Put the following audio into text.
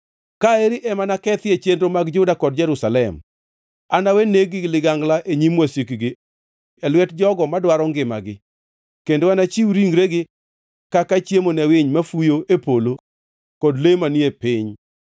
“ ‘Ka eri ema nakethie chenro mag Juda kod Jerusalem. Anawe neg-gi gi ligangla e nyim wasikgi, e lwet jogo madwaro ngimagi, kendo anachiw ringregi kaka chiemo ne winy mafuyo e polo kod le manie piny.